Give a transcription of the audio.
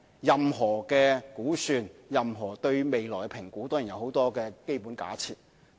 任何估算，任何對未來的評估都有許多基本假設。